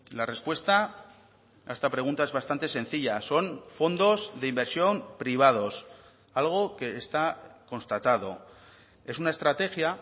la respuesta a esta pregunta es bastante sencilla son fondos de inversión privados algo que está constatado es una estrategia